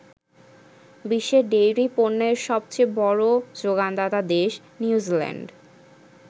বিশ্বে ডেইরি পণ্যের সবচেয়ে বড় যোগানদাতা দেশ নিউজিল্যান্ড।